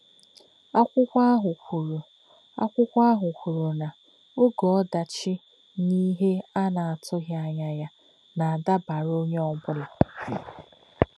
Akwụkwọ ahụ kwuru Akwụkwọ ahụ kwuru na “oge ọdachi na ihe a na-atụghị anya ya na-adabara onye ọ bụla.